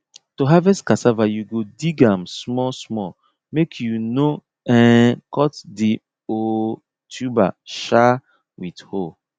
to harvest cassava you go dig am small small make you no um cut the um tuber um with hoe